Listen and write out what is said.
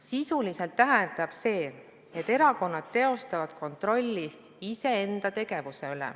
Sisuliselt tähendab see, et erakonnad teostavad kontrolli iseenda tegevuse üle.